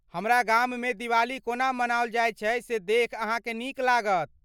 हमरा गाममे दिवाली को ना मनाओल जायत छै से देखि अहाँक नीक लागत।